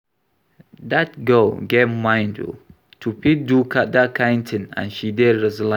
Dat girl get mind oo to fit do dat kin thing and she dey resilient